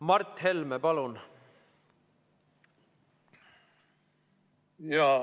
Mart Helme, palun!